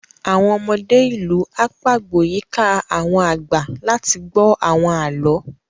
Àwọn ọmọdé ìlú á pagbo yíká àwọn àgbà láti gbọ́ àwọn àlọ́